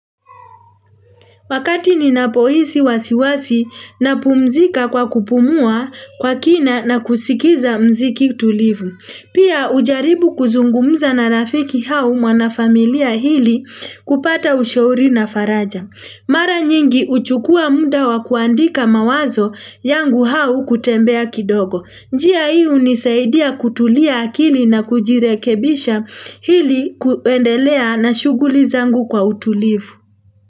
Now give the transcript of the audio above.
Wakati ninapoisi wasiwasi napumzika kwa kupumua kwa kina na kusikiza mziki tulivu. Pia ujaribu kuzungumuza na rafiki hau mwanafamilia hili kupata ushauri na faraja. Mara nyingi uchukua muda wa kuandika mawazo yangu hau kutembea kidogo. Njiya hii unisaidia kutulia akili na kujirekebisha hili kuendelea na shuguli zangu kwa utulivu.